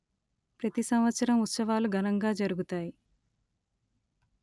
ప్రతి సంవత్సరం ఉత్సవాలు ఘనంగా జరుగుతాయి